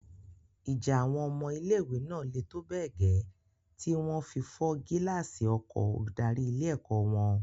Ìjà àwọn ọmọ ilé-ìwé náà le tó bẹ́ẹ̀ gẹ́ tí wọn fi fọ́ gíláàsì ọkọ̀o olùdarí ilé-ẹ̀kọ́ wọn.